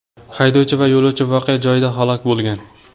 Haydovchi va yo‘lovchi voqea joyida halok bo‘lgan.